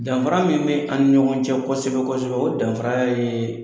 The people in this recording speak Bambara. Danfara min bɛ an ni ɲɔgɔn cɛ kosɛbɛ-kosɛbɛ, o danfara ye